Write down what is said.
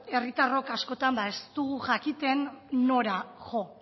herritarrok askotan ez dugu jakiten nora jo